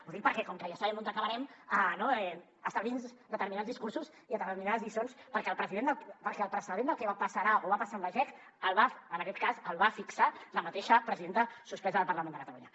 ho dic perquè com que ja sabem on acabarem no estalviï’ns determinats discursos i determinades lliçons perquè el precedent del que passarà o va passar amb la jec en aquest cas el va fixar la mateixa presidenta suspesa del parlament de catalunya